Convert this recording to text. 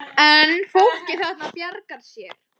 En fólkið þarna bjargar sér.